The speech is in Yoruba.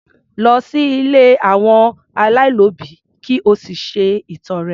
Lọ sí ilé àwọn aláìlóbìí ki o sì ṣe ìtọre